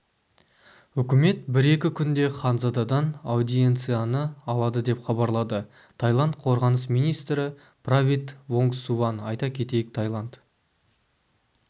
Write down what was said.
үкімет бір-екі күнде ханзададан аудиенцияны алады деп хабарлады тайланд қорғаныс министрі правит вонгсуван айта кетейік таиланд